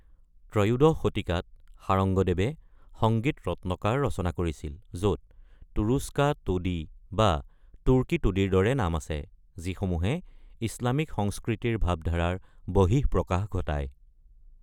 ত্ৰয়োদশ শতিকাত, শাৰঙ্গদেৱে সঙ্গীত ৰত্নকাৰ ৰচনা কৰিছিল, য’ত তুৰুষ্কা টোডি বা 'তুৰ্কী টোডি'ৰ দৰে নাম আছে, যিসমূহে ইছলামিক সংস্কৃতিৰ ভাৱধাৰাৰ বহিঃপ্ৰকাশ ঘটায়।